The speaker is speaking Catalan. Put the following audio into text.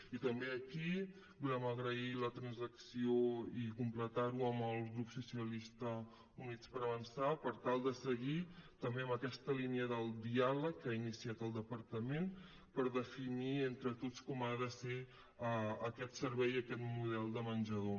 i també aquí volem agrair la transacció i completar ho amb el grup socialistes i units per avançar per tal de seguir també en aquesta línia del diàleg que ha iniciat el departament per definir entre tots com ha de ser aquest servei aquest model de menjador